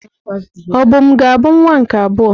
Obum ga-abụ nwa nke abụọ?